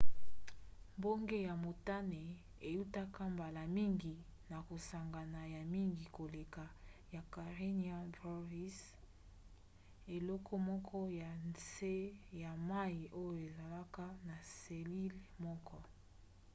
mbonge ya motane eutaka mbala mingi na kosangana ya mingi koleka ya karenia brevis eloko moko ya nse ya mai oyo ezalaka na selile moko